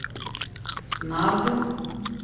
snabb